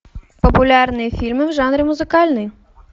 популярные фильмы в жанре музыкальный